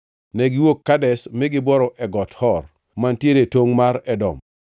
Negiwuok Kadesh mi gibworo e Got Hor, mantiere e tongʼ mar Edom.